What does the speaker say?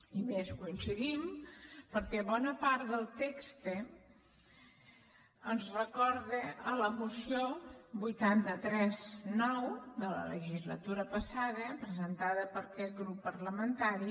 i a més hi coincidim perquè bona part del text ens recorda la moció vuitanta tres ix de la legislatura passada presentada per aquest grup parlamentari